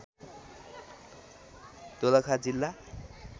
दोलखा जिल्ला